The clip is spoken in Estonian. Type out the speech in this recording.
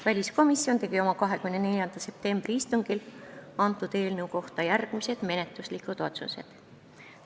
Väliskomisjon tegi oma 24. septembri istungil eelnõu kohta järgmised menetluslikud otsused.